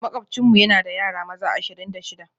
Makwabcinmu yana da yara maza ashirin da shida